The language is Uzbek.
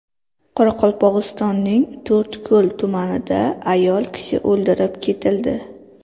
Qoraqalpog‘istonning To‘rtko‘l tumanida ayol kishi o‘ldirib ketildi.